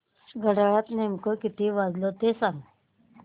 घड्याळात नेमके किती वाजले ते सांग